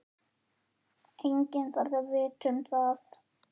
Enginn þarf að vita um það.